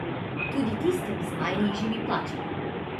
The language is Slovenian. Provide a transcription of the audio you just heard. Tudi tistim z najnižjimi plačami.